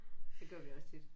Det gør vi også tit